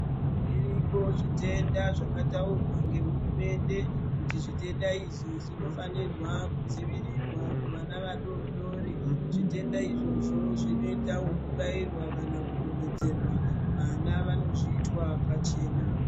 Zviriko zvitenda zvakataurwa ngehurumende kutizvitenda izvi zvinofanirwa kudzivirira kuvana vadodori zvitenda izvozvo zvinoita wekubairwa kana kudonhedzerwa vana vanozviitwa paachena.